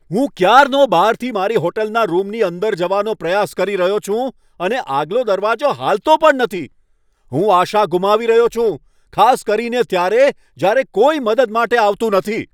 હું ક્યારનો બહારથી મારી હોટલના રૂમની અંદર જવાનો પ્રયાસ કરી રહ્યો છું અને આગલો દરવાજો હાલતો પણ નથી! હું આશા ગુમાવી રહ્યો છું, ખાસ કરીને ત્યારે, જ્યારે કોઈ મદદ માટે આવતું નથી.